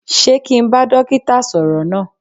Sé kí n bá dókítà sọ̀rọ̀ náà?